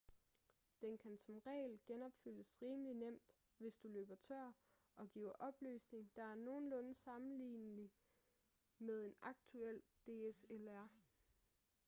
den kan som regel genopfyldes rimelig nemt hvis du løber tør og giver opløsning der er nogenlunde sammenlignelig med et aktuelt dslr